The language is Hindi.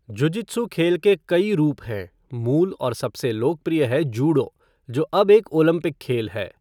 जुजित्सु खेल के कई रूप हैं, मूल और सबसे लोकप्रिय है जूडो, जो अब एक ओलंपिक खेल है।